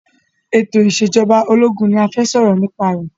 Ètò ìsèjọba ológun ni a fẹ́ sọ̀rọ̀ nipa ẹ̀